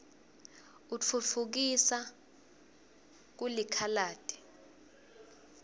utfutfkisa kuif lakitdi